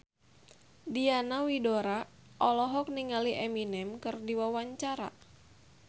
Diana Widoera olohok ningali Eminem keur diwawancara